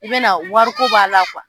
I be na wari ko b'a la